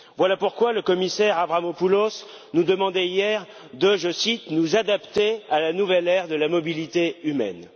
Voilà pourquoi le commissaire Avramopoulos nous demandait hier de je cite nous adapter à la nouvelle ère de la mobilité humaine.